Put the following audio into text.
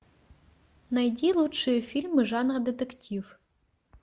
найди лучшие фильмы жанра детектив